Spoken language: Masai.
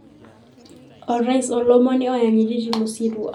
Orais olomoni oyanyiti tilo sirua.